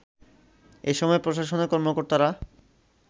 এ সময় প্রশাসনের কর্মকর্তারা